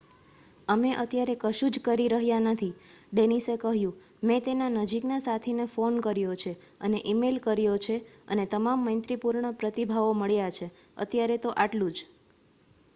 """અમે અત્યારે કશું જ કરી રહ્યા નથી ડેનિસે કહ્યું. મેં તેના નજીકના સાથીને ફોન કર્યો છે અને ઈ-મેઈલ કર્યો છે અને તમામ મૈત્રીપૂર્ણ પ્રતિભાવો મળ્યા છે. અત્યારે તો આ ટલું જ.""